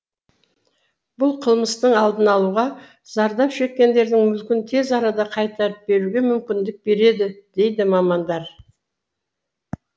бұл қылмыстың алдын алуға зардап шеккендердің мүлкін тез арада қайтарып беруге мүмкіндік береді дейді мамандар